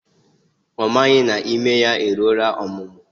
Ọ maghị na ime ya eruola ọmụmụ